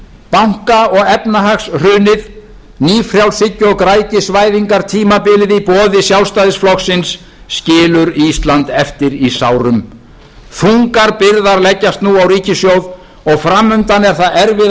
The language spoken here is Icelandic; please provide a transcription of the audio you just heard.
banka og efnahagshrunið nýfrjálshyggju og græðgisvæðingartímabilið í boði sjálfstæðisflokksins skilur ísland eftir í sárum þungar byrðar leggjast nú á ríkissjóð og fram undan er það erfiða